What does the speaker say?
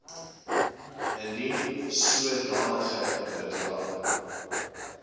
indien sodanige bedrae